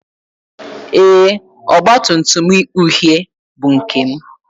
Ee, ọgba tum tum uhie bụ nke m